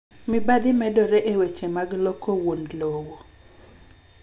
Mibadhi medore e weche mag loko wuon lowo.